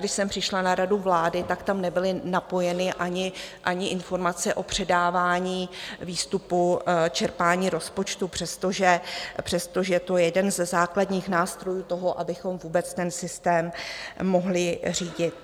Když jsem přišla na radu vlády, tak tam nebyly napojeny ani informace o předávání výstupu čerpání rozpočtu, přestože je to jeden ze základních nástrojů toho, abychom vůbec ten systém mohli řídit.